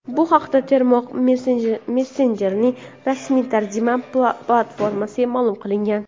Bu haqda tarmoq messenjerining rasmiy tarjima platformasida ma’lum qilingan.